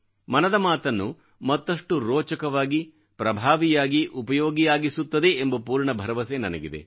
ಮನದಮಾತನ್ನು ಮತ್ತಷ್ಟು ರೋಚಕವಾಗಿ ಪ್ರಭಾವಿಯಾಗಿ ಉಪಯೋಗಿಯಾಗಿಸುತ್ತದೆ ಎಂಬ ಪೂರ್ಣ ಭರವಸೆ ನನಗಿದೆ